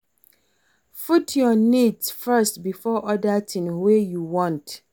Put your needs first before oda things wey you want